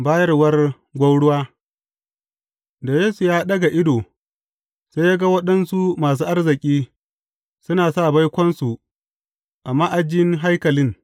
Bayarwar gwauruwa Da Yesu ya ɗaga ido, sai ya ga waɗansu masu arziki suna sa baikonsu a ma’ajin haikalin.